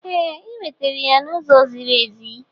Ee, ị nwetara ya n'ụzọ ziri ezi.